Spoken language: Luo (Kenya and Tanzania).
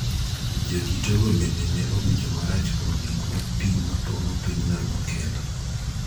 Jodito go bende ne owinjo marach kuom gik ma pi ma pong�o pinyno nokelo